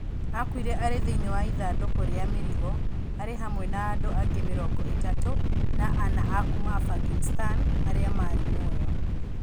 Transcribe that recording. Aakuire arĩ thĩinĩ wa ĩthandũko rĩa mĩrigo .Ari hamwe na andũ angĩ mĩrongo ĩtatũ na ana a kuuma Afghanistan arĩa maarĩ muoyo.